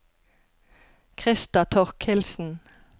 Krister Torkildsen